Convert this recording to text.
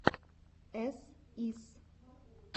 эс ис